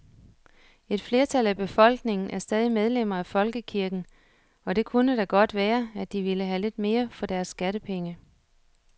Et flertal af befolkningen er stadig medlemmer af folkekirken, og det kunne da godt være, at de ville have lidt mere for deres skattepenge.